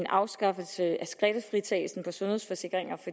afskaffelsen af skattefritagelsen på sundhedsforsikringer